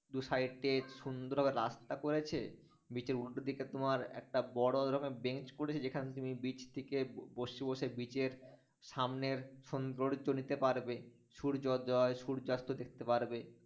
দু-সাইডে সুন্দর ভাবে রাস্তা করেছে, beach র উল্টো দিকে তোমার একটা বড় রকমের bench করেছে, যেখানে তুমি beach থেকে বসে বসে beach র সামনের সৌন্দর্য নিতে পারবে, সূর্যোদয়, সূর্যাস্ত দেখতে পারবে